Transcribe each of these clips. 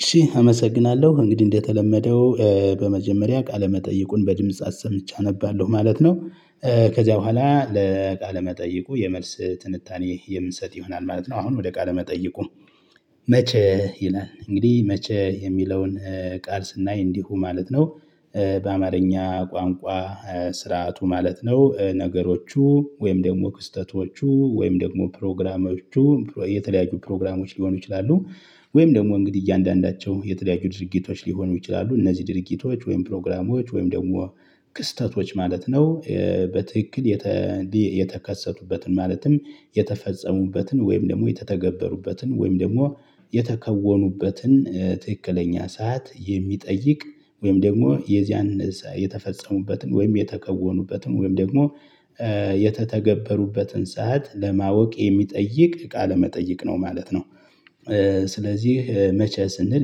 እሺ አመሰግናለሁ እንግዲህ እንደተለመደው በመጀመሪያ ቃለመጠይቁን በድምጽ አሰምቼ አነባለሁ ማለት ነው። ከዚያ በኋላ ለቃለ መጠይቁ የመልስ ትንታኔ የምንሰጥ ይሆናል ማለት ነው። አሁን ወደ ቃለ መጠይቁ? መቼ ይላል እንግዲህ መቼ የሚለውን ቃል ስናይ እንዲሁ ማለት ነው። በአማርኛ ቋንቋ ስርዓቱ ማለት ነው ነገሮቹ ወይም ደግሞ ክስተቶቹ ወይም ደግሞ ፕሮግራሞቹ የተለያዩ ፕሮግራሞች ሊሆኑ ይችላሉ። ወይም ደግሞ እንግዲህ እያንዳንዳቸው የተለያዩ ድርጊቶች ሊሆኑ ይችላሉ እነዚህ ድርጊቶች ወይም ፕሮግራሞች ወይም ደግሞ ክስተቶች ማለት ነው። በትክክል የተከሰቱበትን ማለትም የተፈጸሙበትን ወይም ደግሞ የተተገበሩበትን ወይም ደግሞ የተከወኑበትን ትክክለኛ ሰዓት የሚጠይቅ ወይም ደግሞ የዚያን የተፈጸሙበትን ወይም የተከወኑበትን ወይም ደግሞ የተተገበሩበትን ሰዓት ለማወቅ የሚጠይቅ ቃለ ነው ማለት ነው። ስለዚህ መቼ ስንል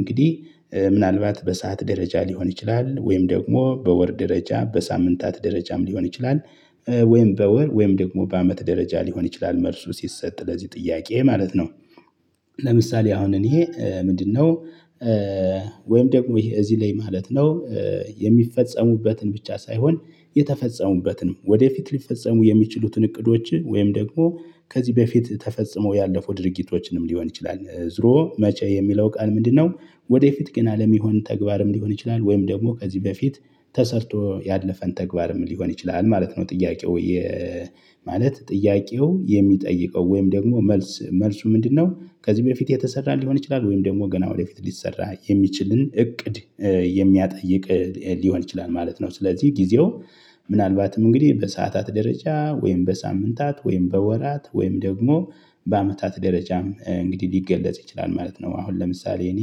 እንግዲህ ምናልባት በሰአት ደረጃ ሊሆን ይችላል ወይም ደግሞ በወር ደረጃ በሳምንታት ደረጃም ሊሆን ይችላል። ወይም በወር ወይም ደግሞ በአመት ደረጃ ሊሆን ይችላል መልሱ ሲሰጥ ለዚህ ጥያቄ ማለት ነው። ለምሳሌ አሁን እኔ ምንድነው? ወይም ደግሞ ይሄ እዚህ ላይ ማለት ነው። የሚፈጸሙበትን ብቻ ሳይሆን የተፈጸሙበትንም ወደፊት ሊፈጸሙ የሚችሉትን እቅዶች ወይም ደግሞ ከዚህ በፊት ተፈጽሞ ያለፉ ድርጊቶችንም ሊሆን ይችላል። ዙሮ መቼ የሚለው ቃል ምንድነው? ወደፊት ገና ለሚሆኑ ተግባርም ሊሆን ይችላል ወይም ደግሞ ከዚህ በፊት ተሰርቶ ያለፈን ተግባርም ሊሆን ይችላል ማለት ነው። ጥያቄው ወይ? ማለት ጥያቄው የሚጠይቀው ወይም ደግሞ መልስ መልሱ ምንድነው ከዚህ በፊት የተሰራ ሊሆን ይችላል ወይም ደግሞ ገና ወደፊት ሊሰራ የሚችልን እቅድ የሚያጠይቅ ሊሆን ይችላል። ማለት ነው። ስለዚህ ጊዜው ምናልባትም እንግዲህ በሰአታት ደረጃ ወይም በሳምንታት ወይም በወራት ወይም ደግሞ በአመታት ደረጃም እንግዲህ ሊገለጽ ይችላል ማለት ነው። አሁን ለምሳሌ እኔ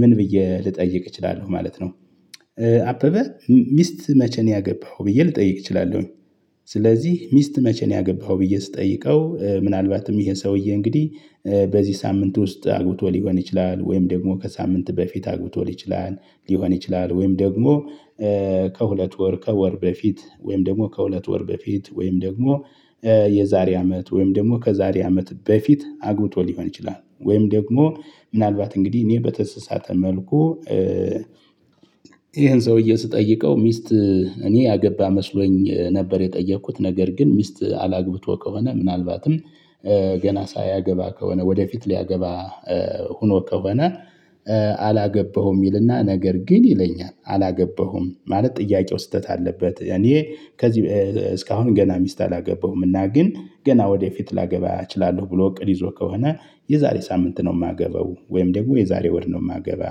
ምን ብዬ ልጠይቅ እችላለሁ ማለት ነው። አበበ ሚስት መቼ ነው ያገባኸው ብዬ ልጠይቅ እችላለሁኝ? ስለዚህ ሚስት መቼ ነው ያገባው ብዬ ስጠይቀው ምናልባትም ይሄ ሰውዬ እንግዲህ በዚህ ሳምንት ውስጥ አግብቶ ሊሆን ይችላል ወይም ደግሞ ከሳምንት በፊት አግብቶ ሊሆን ይችላል። ሊሆን ይችላል ወይም ደግሞ ከሁለት ወር ከወር በፊት ወይም ደግሞ ከሁለት ወር በፊት ወይም ደግሞ የዛሬ አመት ወይም ደግሞ ከዛሬ አመት በፊት አግብቶ ሊሆን ይችላል። ወይም ደግሞ ምናልባት እንግዲህ እኔ በተሰሳተ መልኩ። ይሄን ሰውዬ ስጠይቀው ሚስት እኔ ያገባ መስሎኝ ነበር የጠየኩት ነገር ግን ሚስት አላግብቶ ከሆነ ምናልባትም ገና ሳያገባ ከሆነ ወደፊት ሊያገባ ሆኖ ከሆነ። አላገባሁም ይልና ነገር ግን ይለኛል አላገባሁም ማለት ጥያቄው ስህተት አለበት። እኔ ከዚህ እስካሁን ገና ሚስት አላገባሁምና ግን ገና ወደፊት ላገባ እችላለሁ ብሎ እቅድ ይዞ ከሆነ። የዛሬ ሳምንት ነው የማገበው ወይም ደግሞ የዛሬ ወድ ነው የማገባ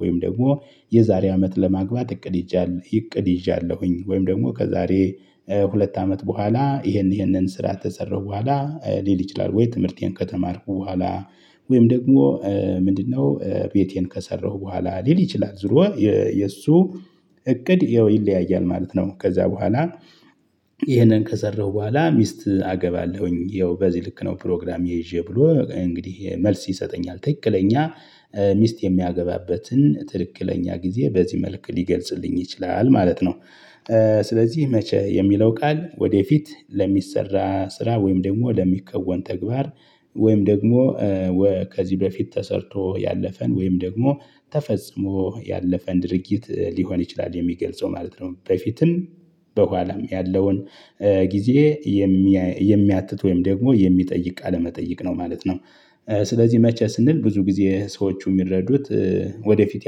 ወይም ደግሞ የዛሬ አመት ለማግባት እቅድ። ይዣለሁኝ ወይም ደግሞ ከዛሬ ሁለት አመት በኋላ ይሄን ይሄንን ስራ ተሰራሁ በኋላ ሊል ይችላል ወይ ትምህርቴን ከተማርኩ በኋላ። ወይም ደግሞ ምንድነው ቤቴን ከሰራሁ በኋላ ሊል ይችላል። ዞሮ የእሱ እቅድ ይለያያል ማለት ነው። ከዛ በኋላ። ይሄንን ከሰራሁ በኋላ ሚስት አገባለሁኝ ይኸው በዚህ ልክ ነው ፕሮግራም ይዤ ብሎ እንግዲህ መልስ ይሰጠኛል ትክክለኛ ሚስት የሚያገባበትን ትክክለኛ ጊዜ በዚህ መልክ ሊገልጽልኝ ይችላል ማለት ነው። ስለዚህ መቼ የሚለው ቃል ወደፊት ለሚሰራ ስራ ወይም ደግሞ ለሚከወን ተግባር። ወይም ደግሞ ከዚህ በፊት ተሰርቶ ያለፈን ወይም ደግሞ ተፈጽሞ ያለፈን ድርጊት ሊሆን ይችላል የሚገልጸው ማለት ነው። በፊትም በኋላም ያለውን ጊዜ የሚያትት ወይም ደግሞ የሚጠይቅ ቃለመጠይቅ ነው ማለት ነው። ስለዚህ መቼ ስንል ብዙ ጊዜ ሰዎቹ የሚረዱት ወደፊት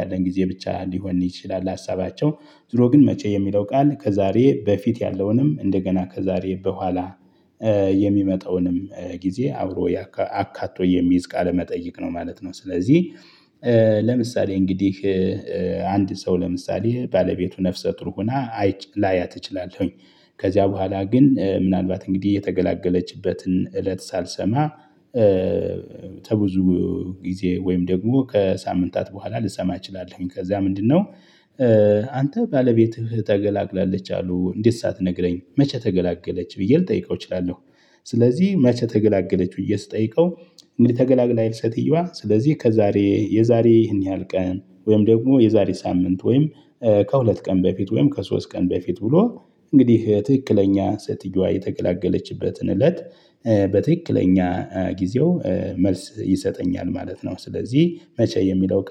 ያለን ጊዜ ብቻ ሊሆን ይችላል። ሀሳባቸው ዝሮ ግን መቼ የሚለው ቃል ከዛሬ በፊት ያለውንም እንደገና ከዛሬ በኋላ የሚመጣውንም ጊዜ አብሮ አካቶ የሚይዝ ቃለመጠይቅ ነው ማለት ነው። ስለዚህ ለምሳሌ እንግዲህ አንድ ሰው ለምሳሌ ባለቤቱ ነፍሰ ጥሩ ሆና ላያት እችላለሁኝ ከዚያ በኋላ ግን ምናልባት እንግዲህ የተገላገለችበትን እለት ሳልሰማ። ተብዙ ጊዜ ወይም ደግሞ ከሳምንታት በኋላ ልሰማ እችላለሁ ከዛ ምንድነው? አንተ ባለቤትህ ተገላግላለች አሉ እንዴት ሳትነግረኝ መቼ ተገላገለች ብዬ ልጠይቀው እችላለሁ። ስለዚህ መቼ ተገላገለች ብዬ ስጠይቀው። እንግዲህ ተገላግላይ አይደል ሴትዮዋ ስለዚህ ከዛሬ የዛሬ ይህን ያህል ቀን ወይም ደግሞ የዛሬ ሳምንት ወይም ከሁለት ቀን በፊት ወይም ከሶስት ቀን በፊት ብሎ እንግዲህ ትክክለኛ ሴትየዋ የተገላገለችበትን እለት። በትክክለኛ ጊዜው መልስ ይሰጠኛል ማለት ነው። ስለዚህ መቼ የሚለው